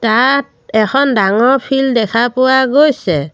তাত এখন ডাঙৰ ফিল্ড দেখা পোৱা গৈছে।